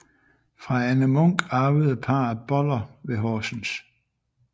Fra Anne Munk arvede parret Boller ved Horsens